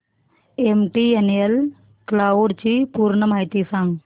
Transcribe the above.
MTNL cloud ची पूर्ण माहिती सांग